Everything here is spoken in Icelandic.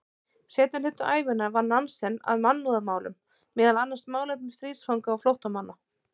Seinni hluta ævinnar vann Nansen að mannúðarmálum, meðal annars málefnum stríðsfanga og flóttamanna.